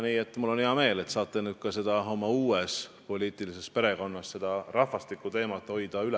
Nii et mul on hea meel, et te saate nüüd seda rahvastikuteemat ka oma uues poliitilises perekonnas üleval hoida.